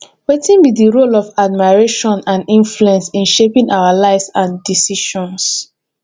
wetin be di role of admiration and influence in shaping our lives and decisions